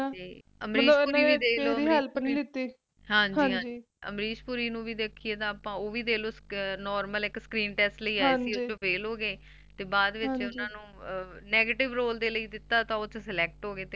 ਤੇ Amrish Poori ਦੇਖੀਏ ਤਾਂ ਅਪਾ Normal ਇਕ Screen Test ਲਈ ਆਏ ਸੀ ਉੱਸ ਚ fail ਹੋਗੇ ਤੇ ਬਾਅਦ ਵਿਚ ਓਹਨਾ ਨੂੰ Negative Role ਲਈ ਦਿੱਤਾ ਤਾਂ ਉਸ ਚ Select ਹੋਗੇ